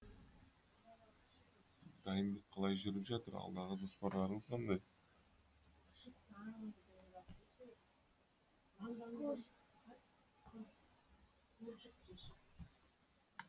дайындық қалай жүріп жатыр алдағы жоспарларыңыз қандай